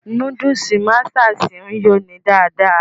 Núdúùsù Masters ń yó ni dáadáa